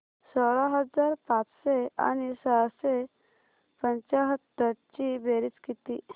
सोळा हजार पाचशे आणि सहाशे पंच्याहत्तर ची बेरीज किती